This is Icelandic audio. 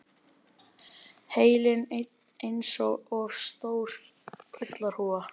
Heilinn einsog of stór ullarhúfa.